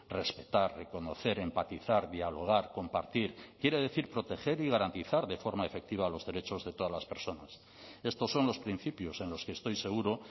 respetar reconocer empatizar dialogar compartir quiere decir proteger y garantizar de forma efectiva los derechos de todas las personas estos son los principios en los que estoy seguro